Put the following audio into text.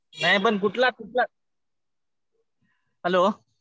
नाही पण कुठला कुठला? हॅलो?